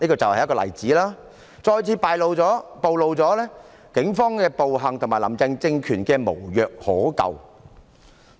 這例子再次暴露了警方的暴行及"林鄭"政權的無藥可救。